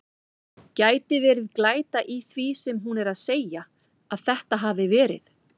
Gæti verið glæta í því sem hún er að segja. að þetta hafi verið.